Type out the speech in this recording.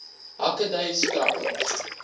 hake dui skrappings